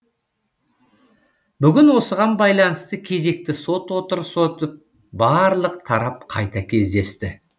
бүгін осыған байланысты кезекті сот отырысы өтіп барлық тарап қайта кездесті